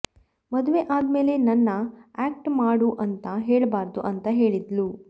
ಮದುವೆ ಆದ್ಮೇಲೆ ನನ್ನ ಆಕ್ಟ್ ಮಾಡು ಅಂತ ಹೇಳ್ಬಾರ್ದು ಅಂತ ಹೇಳಿದ್ಲು